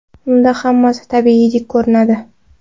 Unda hammasi tabiiydek ko‘rinadi.